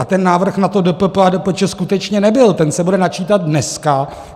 A ten návrh na to DPP a DPČ skutečně nebyl, ten se bude načítat dneska.